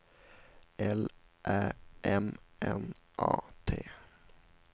L Ä M N A T